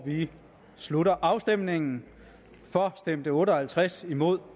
vi slutter afstemningen for stemte otte og halvtreds imod